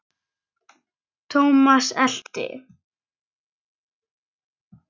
Thomas elti.